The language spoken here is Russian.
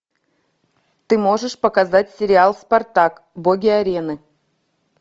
ты можешь показать сериал спартак боги арены